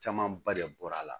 Camanba de bɔra a la